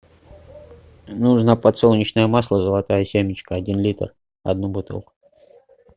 нужно подсолнечное масло золотая семечка один литр одну бутылку